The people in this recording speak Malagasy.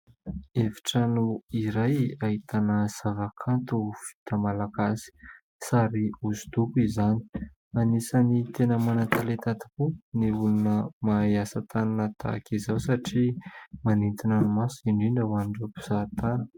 Efitrano iray ahitana zavakanto vita malagasy : sary hosodoko izany. Anisany tena manan-talenta tokoa ny olona mahay asa tanana tahaka izao satria manintona ny maso, indrindra ho an'ireo mpizahatany.